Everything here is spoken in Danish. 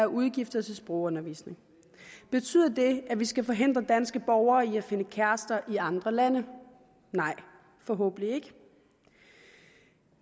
udgifter til sprogundervisning betyder det at vi skal forhindre danske borgere i at finde kærester i andre lande nej forhåbentlig ikke